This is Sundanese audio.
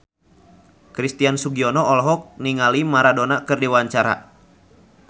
Christian Sugiono olohok ningali Maradona keur diwawancara